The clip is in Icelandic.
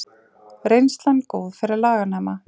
Reynslan góð fyrir laganema